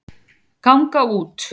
ganga út